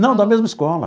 Não, da mesma escola.